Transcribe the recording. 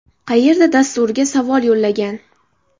Qayerda?” dasturiga savol yo‘llagan.